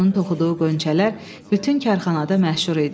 Onun toxuduğu qönçələr bütün karxanada məşhur idi.